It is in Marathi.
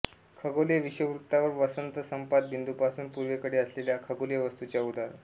खगोलीय विषुववृत्तावर वसंतसंपात बिंदूपासून पूर्वेकडे असलेल्या खगोलीय वस्तूच्या उदा